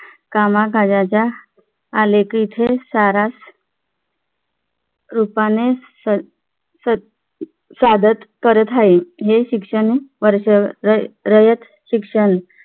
कामकाजाच्या आली की इथे सारास रूपाने स अह स अह सादर करत आहे हे शिक्षण वरचं रयत शिक्षण